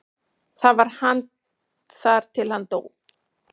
Þar var hann þar til hann dó.